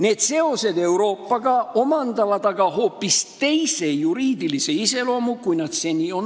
Need seosed Euroopaga omandavad aga hoopis teise juriidilise iseloomu, kui seni.